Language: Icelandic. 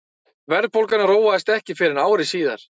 verðbólgan róaðist ekki fyrr en ári síðar